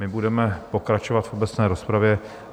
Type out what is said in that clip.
My budeme pokračovat v obecné rozpravě.